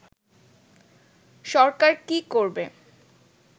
সরকার কী করবে